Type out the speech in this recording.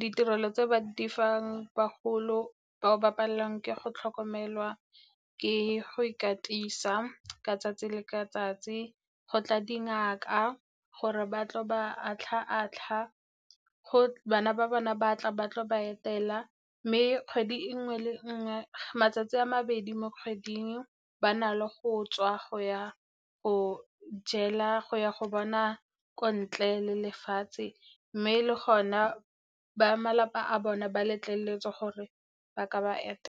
Ditirelo tse ba di fang bagolo ba o ba palelwang ke go tlhokomelwa, ke go ikatisa ka 'tsatsi le ka 'tsatsi go tla dingaka gore ba tlo ba atlha-atlhwa. Bana ba bona ba tla ba tlo ba etela, mme kgwedi nngwe le nngwe, matsatsi a mabedi mo kgweding ba na le go tswa go ya go jela, go ya go bona ko ntleng lefatshe, mme le go na ba malapa a bone ba letleletswe gore ba ka ba etela.